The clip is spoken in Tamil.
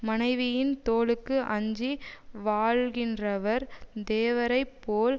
மனைவியின் தோளுக்கு அஞ்சி வாழ்கின்றவர் தேவரைப் போல்